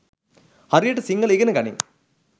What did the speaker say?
හරියට සිංහල ඉගෙන ගනින්